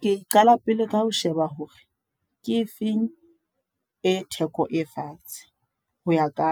Ke qala pele ka ho sheba hore, ke efeng e theko e fatshe. Ho ya ka